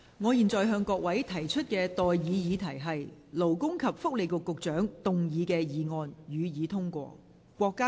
我現在向各位提出的待議議題是：勞工及福利局局長動議的議案，予以通過。